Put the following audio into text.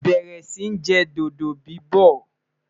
bẹrẹ Si jẹ dodo bibọ